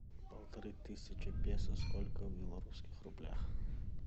полторы тысячи песо сколько в белорусских рублях